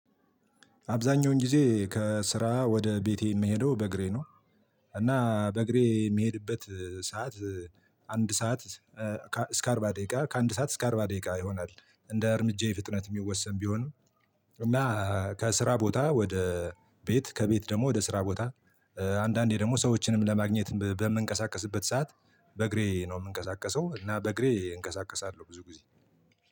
አብዛኛውን ጊዜ ከስራ ወደ ቤቴ የምሄደው በእግሬ ነው። እና በእግሬ የሚሄድበት ሰዓት አንድ ሰዓት እስከ አርባ ደቂቃ ከአንድ ሰዓት እስከ አርባ ደቂቃ ይሆናል እንደ እርምጃዬ ፍጥነት የሚወሰን ቢሆንም። እና ከስራ ቦታ ወደ ቤት ከቤት ደግሞ ወደ ስራ ቦታ አንዳንዴ ደግሞ ሰዎችንም ለማግኘት በምንቀሳቀስበት ሰዓት በእግሬ ነው የምንቀሳቀሰው እና በእግሬ እንቀሳቀሳለሁ። ብዙ ጊዜ